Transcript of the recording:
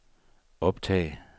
optag